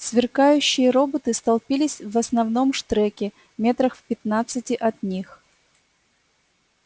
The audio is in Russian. сверкающие роботы столпились в основном штреке метрах в пятнадцати от них